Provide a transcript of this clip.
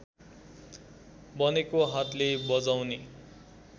बनेको हातले बजाउने